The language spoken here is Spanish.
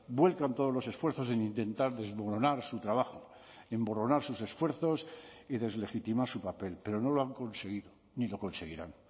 vuelcan todos los esfuerzos en intentar desmoronar su trabajo emborronar sus esfuerzos y deslegitimar su papel pero no lo han conseguido ni lo conseguirán